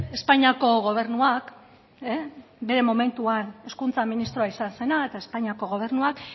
espainiako gobernuak bere momentuan hezkuntza ministroa izan zena eta espainiako gobernuak